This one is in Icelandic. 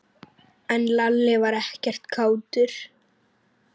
En Lalli var ekkert kátur.